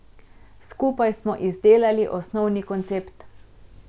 Skupaj smo izdelali osnovni koncept.